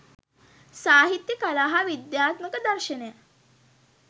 සාහිත්‍යය කලා හා විදාත්මක දර්ශනය